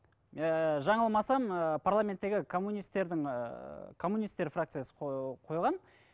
ііі жаңылмасам ыыы парламенттегі коммунистердің ыыы коммунистер фракциясы қойған